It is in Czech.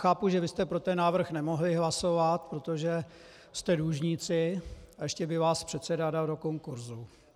Chápu, že vy jste pro ten návrh nemohli hlasovat, protože jste dlužníci a ještě by vás předseda dal do konkursu.